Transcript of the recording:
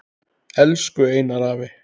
Elsku Einar afi.